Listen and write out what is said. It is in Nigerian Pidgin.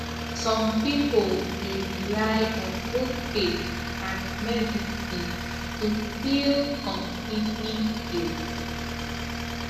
some people dey rely on both faith and medicine to feel completely healed